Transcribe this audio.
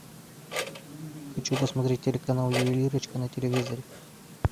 хочу посмотреть телеканал ювелирочка на телевизоре